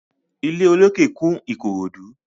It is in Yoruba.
Ilé olókè kún Ìkòròdú.